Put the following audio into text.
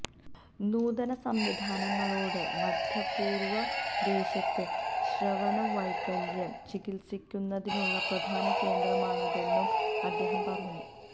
നൂതന സംവിധാനങ്ങളോടെ മധ്യപൂര്വ ദേശത്ത് ശ്രവണവൈകല്യം ചികിത്സിക്കുന്നതിനുള്ള പ്രധാന കേന്ദ്രമാണ് അതെന്നും അദ്ദേഹം പറഞ്ഞു